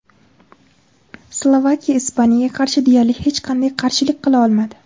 Slovakiya Ispaniyaga qarshi deyarli hech qanday qarshilik qila olmadi.